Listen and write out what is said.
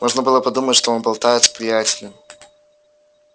можно было подумать что он болтает с приятелем